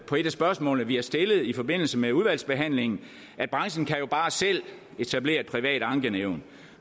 på et af spørgsmålene vi har stillet i forbindelse med udvalgsbehandlingen at branchen jo bare selv kan etablere et privat ankenævn